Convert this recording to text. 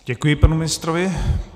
Děkuji panu ministrovi.